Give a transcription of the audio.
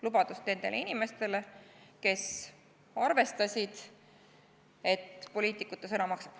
Lubadust nendele inimestele, kes arvestasid, et poliitikute sõna maksab.